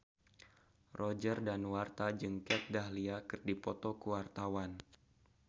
Roger Danuarta jeung Kat Dahlia keur dipoto ku wartawan